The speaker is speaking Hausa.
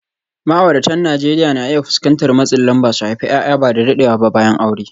Ma’auratan Najeriya na iya fuskantar matsin lamba su haifi ’ya’ya ba da daɗewa ba bayan aure.